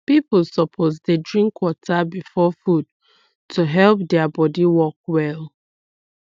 people suppose dey drink water before food to help their body work well